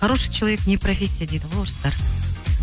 хороший человек не профессия дейді ғой орыстар